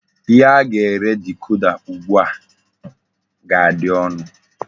Ihe a ga-ere dikoda ugbu a ga-adị ọnụ.